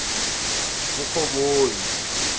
kurhoboyi